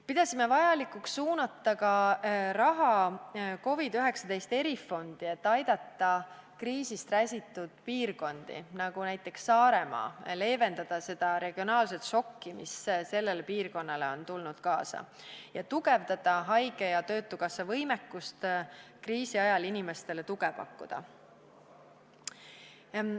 Pidasime vajalikuks suunata raha ka COVID-19 erifondi, et aidata kriisist räsitud piirkondi, näiteks Saaremaad, ja leevendada seda šokki, mis sellele piirkonnale on osaks saanud, ning tugevdada haige- ja töötukassa võimekust kriisi ajal inimestele tuge pakkuda.